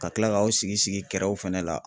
Ka tila k'aw sigi sigi kɛrɛw fɛnɛ la.